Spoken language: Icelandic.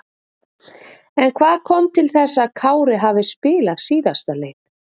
En hvað kom til þess að Kári hafi spilað síðasta leik?